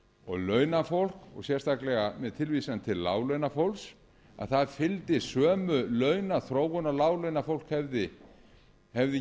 og launafólk og sérstaklega með tilvísan til láglaunafólks að það fylgdi sömu launaþróun og láglaunafólk hefði